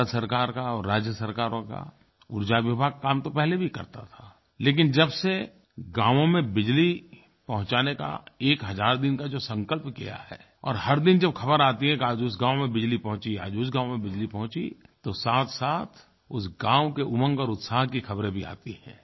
भारत सरकार का और राज्य सरकारों का ऊर्जा विभाग काम तो पहले भी करता था लेकिन जब से गांवों में बिजली पहुँचाने का 1000 दिन का जो संकल्प किया है और हर दिन जब ख़बर आती है कि आज उस गाँव में बिजली पहुँची आज उस गाँव में बिजली पहुँची तो साथसाथ उस गाँव के उमंग और उत्साह की ख़बरें भी आती हैं